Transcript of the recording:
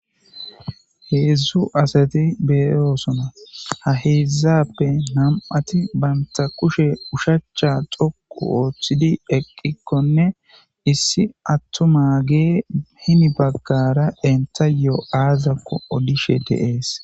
heedzdzu asati beyoosoma ha heedzzappe nam7ati banta kushe ushacha xoqu ooththidi eqqikkonne issi attoma gee himi baggara entayoo7aazakko odishe deees